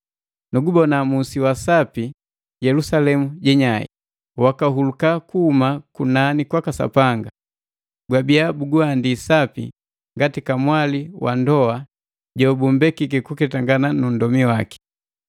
Nugubona musi wa sapi, Yelusalemu nnyai, wakahuluka kuhuma kunani kwaka Sapanga. Gwabia buguhandi sapi ngati kamwali wa ndoa jobundembiki kuketangana nu nndomi waki.